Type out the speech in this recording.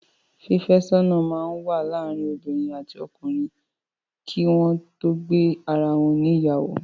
Fífẹ́sọ́nà máa ń wà láàárín obiinrìn àti ọkunrìn kí wọn tó gbé ara wọn ní ìyàwó.